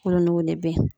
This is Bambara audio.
Kolon nɔgɔ de bɛ ye